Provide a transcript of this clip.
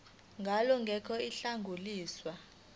ngalo ngeke lwadluliselwa